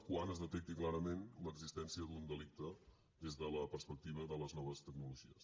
quan es detecti clarament l’existència d’un delicte des de la perspectiva de les noves tecnologies